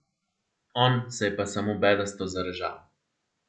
On se je pa samo bedasto zarežal.